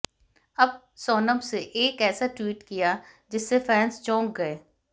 अब सोनम से एक ऐसा ट्वीट किया जिससे फैंस चौक गए